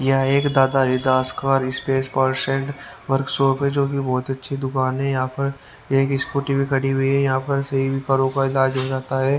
यहाँ एक दादा हरिदास का स्पेस पर्सन वर्कशॉप है जो कि बहुत अच्छी दुकान है यहां पर एक स्कूटी भी खड़ी हुई है यहां पर सही भी करों का इलाज रहता है।